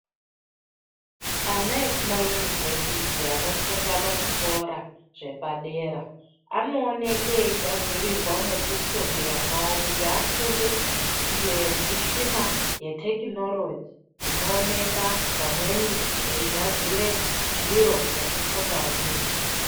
Ana ekumayunivhesiti anofunda pachikora zvepadera anooneke eigadzirirwa mwekufundira mwawo kuti afunde ngemichina yetekinoroji inooneka pamweni eigadzire zviro zvekufunda ndizvo.